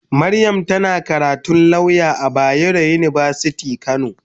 Mariam tana karatun lauya a bayaro university kano.